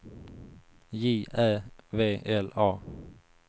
J Ä V L A